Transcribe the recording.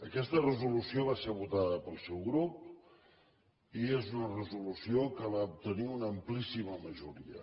aquesta resolució va ser votada pel seu grup i és una resolució que va obtenir una amplíssima majoria